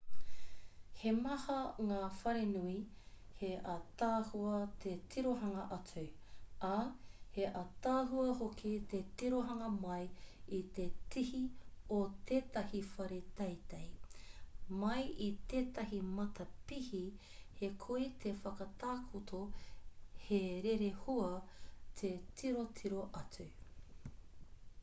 he maha ngā wharenui he ātaahua te tirohanga atu ā he ātaahua hoki te tirohanga mai i te tihi o tētahi whare teitei mai i tētahi matapihi he koi te whakatakoto he rerehua te tirotiro atu